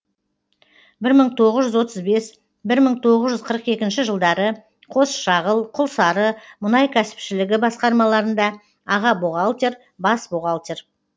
бір мың тоғыз жүз отыз бес бір мың тоғыз жүз қырық екінші жылдары қосшағыл құлсары мұнай кәсіпшілігі басқармаларында аға бухгалтер бас бухгалтер